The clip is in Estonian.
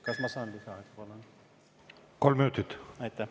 Kas ma saan lisaaega paluda?